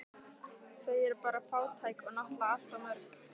Þau eru bara fátæk og náttúrlega allt of mörg